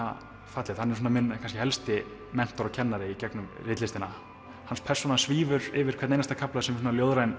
fallegt hann er minn helsti mentor og kennari í gegnum ritlistina hans persóna svífur yfir hvern einasta kafla sem svona ljóðrænn